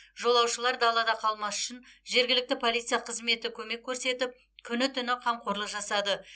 жолаушылар далада қалмас үшін жергілікті полиция қызметі көмек көрсетіп күні түні қамқорлық жасады